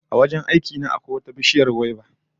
A wajen aiki na akwai wata bishiyar gwaiba